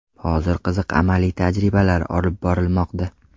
Hozir qiziq amaliy tajribalar olib borilmoqda.